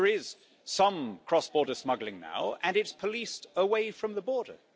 There is some cross border smuggling now, and it is policed away from the border.